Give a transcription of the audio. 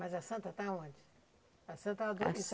Mas a santa está onde? A Santa